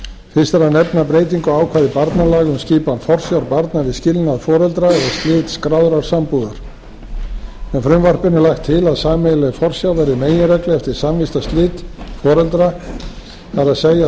fyrst er að nefna breytingu á ákvæði barnalaga um skipan forsjár barna við skilnað foreldra og slit skráðrar sambúðar með frumvarpinu er lagt til að sameiginleg forsjá verði meginregla eftir samvistarslit foreldra það er